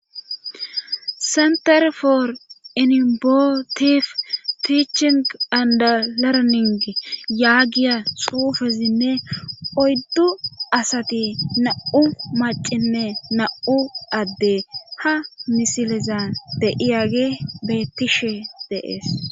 senter for enibotif tiichin and lerning yaagiya xuufezinne oyddu asati na7u macime na7u adde ha misileza deiyage beettishe de'es